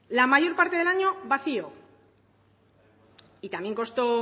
la mayor parte del año vacío y también costó